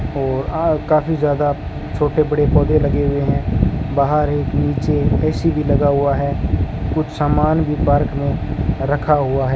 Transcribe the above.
और आ काफी ज्यादा छोटे बड़े पौधे लगे हुए हैं बाहर एक नीचे ए_सी भी लगा हुआ है कुछ सामान भी पार्क में रखा हुआ है।